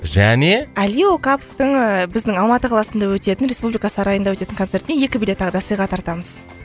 және әли оқаповтың ііі біздің алматыда қаласында өтетін республика сарайында өтетін концертіне екі билет тағы да сыйға тартамыз